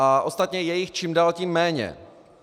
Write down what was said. A ostatně je jich čím dál tím méně.